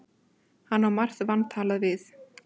Hann á margt vantalað við